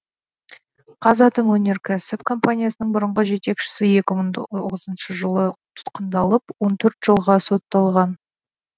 қазатомөнеркәсіп компаниясының бұрынғы жетекшісі екі мың тоғызыншы жылы тұтқындалып он төрт жылға сотталған